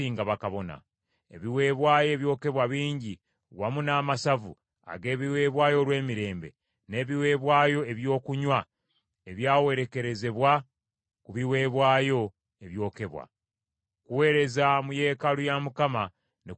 Ebiweebwayo ebyokebwa bingi, wamu n’amasavu ag’ebiweebwayo olw’emirembe, n’ebiweebwayo ebyokunywa ebyawerekerezebwa ku biweebwayo ebyokebwa. Okuweereza mu yeekaalu ya Mukama ne kuzzibwawo.